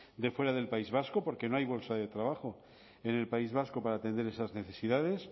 de fuera del país vasco porque no hay bolsas de trabajo en el país vasco para atender esas necesidades